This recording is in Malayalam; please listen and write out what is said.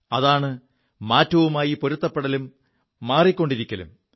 അതാണ് മാറ്റവുമായി പൊരുത്തപ്പെടലും മാറിക്കൊണ്ടിരിക്കലും